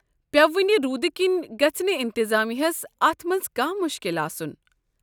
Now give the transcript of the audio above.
پییوٕ وٕنہِ روُدٕ كِنۍ گژھہِ نہٕ انتظامیہ ہس اتھ منٛز كانہہ مُشكِل آسُن۔